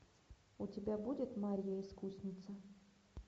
у тебя будет марья искусница